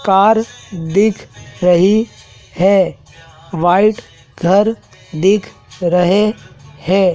Car दिख रही हैं व्हाइट घर दिख रहें हैं।